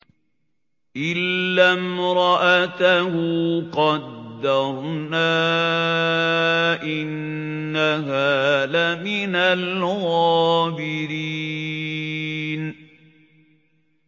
إِلَّا امْرَأَتَهُ قَدَّرْنَا ۙ إِنَّهَا لَمِنَ الْغَابِرِينَ